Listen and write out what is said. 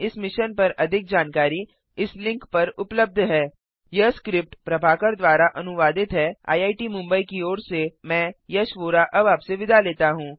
इस मिशन पर अधिक जानकारी इस लिंक पर उपलब्ध है httpspoken tutorialorgNMEICT Intro यह स्क्रिप्ट प्रभाकर द्वारा अनुवादित है आईआईटी मुंबई की ओर से मैं यश वोरा अब आपसे विदा लेता हूँ